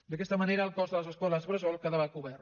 d’aquesta manera el cost de les escoles bressol quedava cobert